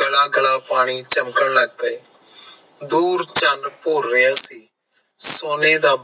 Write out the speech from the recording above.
ਗੱਲਾਂ ਗੱਲਾਂ ਪਾਣੀ ਚਚਮਕਣ ਲਗ ਪਾਏ ਦੂਰ ਚੈਨ ਭੋਰ ਰਿਹਾ ਸੀ ਸੋਨੇ ਦਾ